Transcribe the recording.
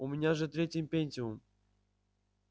у меня же третий пентиум